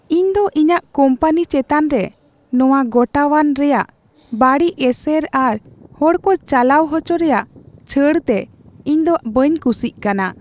ᱤᱧ ᱫᱚ ᱤᱧᱟᱹᱜ ᱠᱳᱢᱯᱟᱱᱤ ᱪᱮᱛᱟᱱ ᱨᱮ ᱱᱚᱶᱟ ᱜᱚᱴᱟᱣᱟᱱ ᱨᱮᱭᱟᱜ ᱵᱟᱹᱲᱤᱡ ᱮᱥᱮᱨ ᱟᱨ ᱦᱚᱲ ᱠᱚ ᱪᱟᱞᱟᱣ ᱦᱚᱪᱚ ᱨᱮᱭᱟᱜ ᱪᱷᱟᱹᱲ ᱛᱮ ᱤᱧ ᱫᱚ ᱵᱟᱹᱧ ᱠᱩᱥᱤᱜ ᱠᱟᱱᱟ ᱾